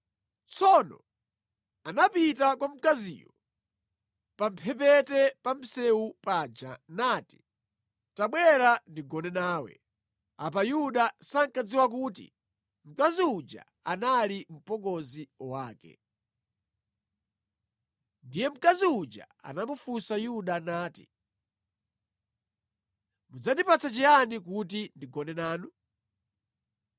Tsono anapita kwa mkaziyo pamphepete pa msewu paja nati, “Tabwera ndigone nawe.” Apa Yuda sankadziwa kuti mkazi uja anali mpongozi wake. Ndiye mkazi uja anamufunsa Yuda nati, “Mudzandipatsa chiyani kuti ndigone nanu?”